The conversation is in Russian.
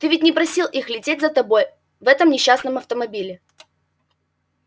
ты ведь не просил их лететь за тобой в этом несчастном автомобиле